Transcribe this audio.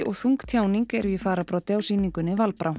og þung tjáning eru í fararbroddi á sýningunni